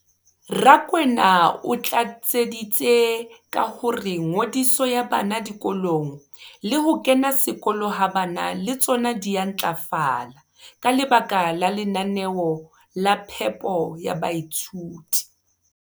Rakwena o tlatseditse ka hore ngodiso ya bana dikolong le ho kena sekolo ha bana le tsona di a ntlafala ka lebaka la lenaneo la phepo ya baithuti.